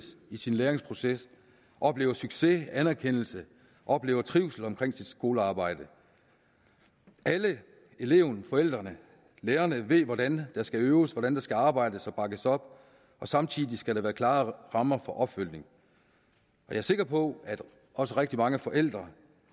sin læringsproces oplever succes anerkendelse oplever trivsel under sit skolearbejde alle eleven forældrene og lærerne ved hvordan der skal øves hvordan der skal arbejdes og bakkes op og samtidig skal der være klare rammer for opfølgning jeg er sikker på at også rigtig mange forældre